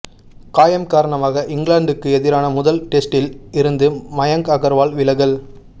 காயம் காரணமாக இங்கிலாந்துக்கு எதிரான முதல் டெஸ்டில் இருந்து மயங்க் அகர்வால் விலகல்